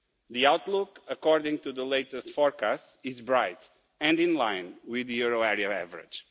The outlook according to the latest forecasts is bright and in line with the euro area average.